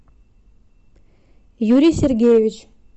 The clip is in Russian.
юрий сергеевич